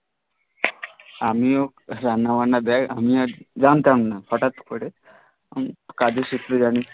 আমিও রান্না বান্না দে আমিও জানতাম না হঠাৎ করে